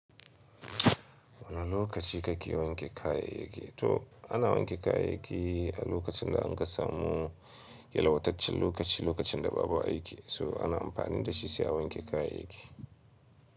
Wane lokaci kake wanke kayayyaki? To ana wanke kayayyaki a lokacin da an ka samu yalwataccen lokaci, lokacin da babu aiki, so ana amfani da shi sai a wanke kayayyaki.